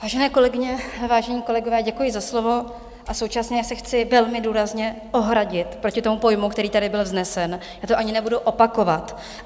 Vážené kolegyně, vážení kolegové, děkuji za slovo a současně se chci velmi důrazně ohradit proti tomu pojmu, který tady byl vznesen, já to ani nebudu opakovat.